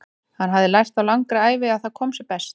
Hann hafði lært á langri ævi að það kom sér best.